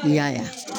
N y'a